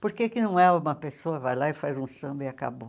Por que que não é uma pessoa que vai lá e faz um samba e acabou?